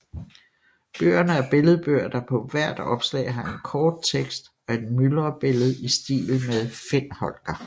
Bøgerne er billedbøger der på hvert opslag har en kort tekst og et myldrebillede i stil med Find Holger